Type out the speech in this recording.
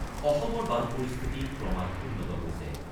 অসমৰ বান পৰিস্থিতি ক্ৰমাৎ উন্নত হৈছে।